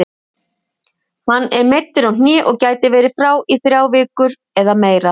Hann er meiddur á hné og gæti verið frá í þrjár vikur eða meira.